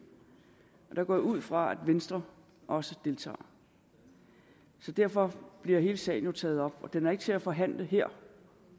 og der går jeg ud fra at venstre også deltager så derfor bliver hele sagen jo taget op og den er ikke til at forhandle her